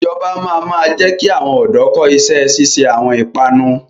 Ìjọba máa ma jẹ ki àwọn ọ̀dọ́ kọ́ ìṣẹ́ ṣíṣe àwọn ìpanu